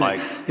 Aeg!